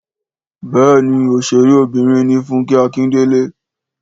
Béèni òṣèré Obìnrin ni Funkẹ Akindele